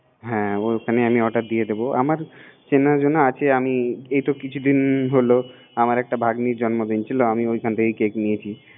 হ্যা ওখানেরই আমি অর্ডার দিয়ে দিবেআমার চেনা জানা আছেআমি এইতো কিছু দিন হলো আমার একটা ভাগ্নির জন্মদিন ছিলআমি ওখান থেকেই কেক নিয়েছি